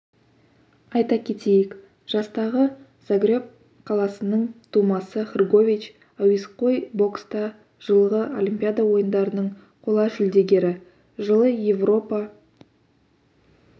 айта кетейік жастағы загреб қаласының тумасы хргович әуесқой бокста жылғы олимпиада ойындарының қола жүлдегері жылы еуропа